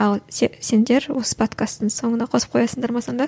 ал сендер осы подкасттың соңына қосып қоясыңдар ма сонда